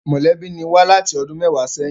Mọ̀lẹ́bí ni wá láti ọdún méwàá sẹ́yìn